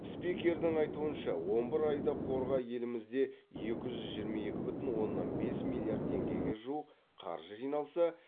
спикердің айтуынша он бір айда қорға елімізде екі жүз жиырма екі бүтін оннан бес миллиард теңгеге жуық қаржы жиналса